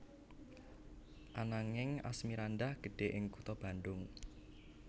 Ananging Asmirandah gedhe ing kutha Bandung